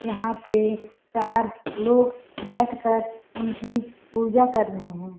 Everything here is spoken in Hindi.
यहाँ पे चार लोग बैठ कर उनकी पूजा कर रहें है।